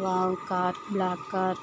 wow car black car